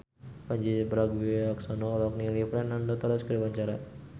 Pandji Pragiwaksono olohok ningali Fernando Torres keur diwawancara